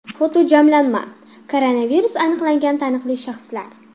Fotojamlanma: Koronavirus aniqlangan taniqli shaxslar .